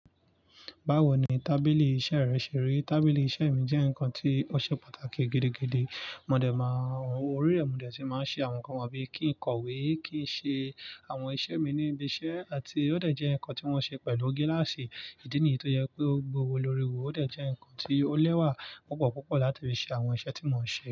Báwo ni tábìlì iṣẹ́ rẹ ṣe rí? Tábìlì iṣẹ́ mi jẹ́ nǹkan tí ó ṣe pàtàkì gidigidi. Mo dẹ̀ máa ń, orí rẹ̀ mo dẹ̀ ti máa ń ṣe àwọn nǹkan bí i kí ń kọ̀wé, kí ń ṣe àwọn iṣẹ́ mi ní ibi iṣẹ́, àti ó dẹ̀ jẹ́ nǹkan tí wọ́n ṣe pẹ̀lú gíláàsì. Ìdí nìyí tó jẹ́ pé gbowo lórí wo ó dẹ̀ jẹ́ nǹkan tí ó lẹ́wà púpọ̀ púpọ̀ láti fi ṣe àwọn iṣẹ́ tí mo ń ṣe.